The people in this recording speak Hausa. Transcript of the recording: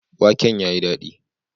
Waken ya yi dadi.